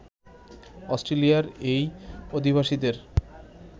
অস্ট্রেলিয়ার এই অধিবাসীদের